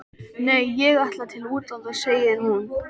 Nei ég ætla til útlanda, segir hún.